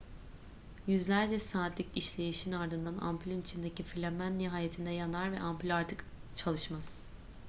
yüzlerce saatlik işleyişin ardından ampülün içindeki filamen nihayetinde yanar ve ampül artık çalışmaz